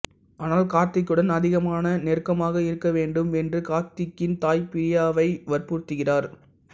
ஆனால் கார்த்திக்குடன் அதிகமான நெருக்கமாக இருக்க வேண்டும் என்று கார்த்திக்கின் தாய் பிரியாவை வற்புறுத்துகிறார்